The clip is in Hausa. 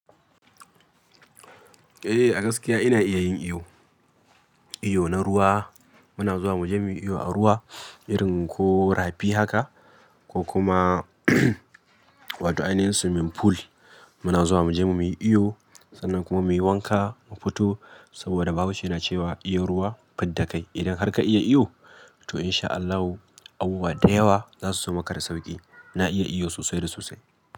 Eh, a gaskiya ina iya yin iyo. Iyo na ruwa muna zuwa mu je mu yi iyo a ruwa irin ko rafi haka ko kuma wato aininsu swimming pool muna zuwa mu je mu yi iyo sannan kuma muyi wanka mu fito saboda bahaushe na cewa iya ruwa fidda kai. Idan har ka iya iyo to in sha Allahu abubuwa da yawa za su zama ka da sauƙi. Na iya iyo sosai da sosai.